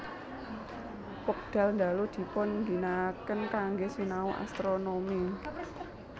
Wekdal ndalu dipun ginakaken kanggé sinau astronomi